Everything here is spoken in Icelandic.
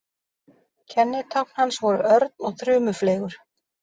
Kennitákn hans voru örn og þrumufleygur.